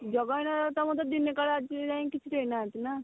ଦବା ବେଳେ ତ ଦିନେ କାଳେ ଆଜିଯାଏଁ କିଛି ଦେଇ ନାହାନ୍ତି ନା